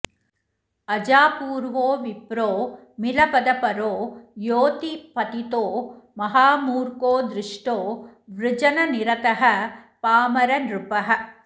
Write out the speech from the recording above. अजापूर्वो विप्रो मिलपदपरो योऽतिपतितो महामूर्खो दुष्टो वृजननिरतः पामरनृपः